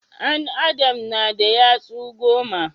An adam na da yatsu goma